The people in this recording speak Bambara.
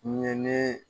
Ni ye ne